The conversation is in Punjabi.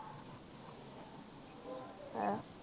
ਹੈਂ